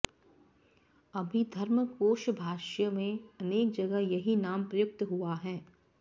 अभिधर्मकोशभाष्य में अनेक जगह यही नाम प्रयुक्त हुआ है